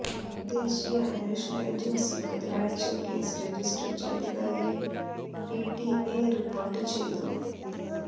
ദേശീയ അന്വേഷണ ഏജൻസി ബുധനാഴ്ച കേസ് രജിസ്റ്റർ ചെയ്തതായി പിടിഐ റിപോർട്ട് ചെയ്തു